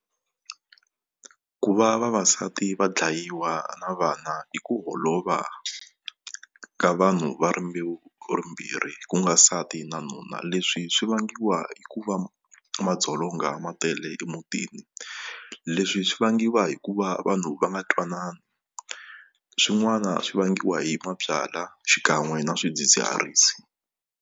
Ku va vavasati va dlayiwa na vana i ku holova ka vanhu va rimbewu ku nga nsati na nuna leswi swi vangiwa hikuva madzolonga ma tele emutini leswi swi vangiwa hikuva vanhu va nga twanani swin'wana swi vangiwa hi mabyalwa xikan'we na swidzidziharisi.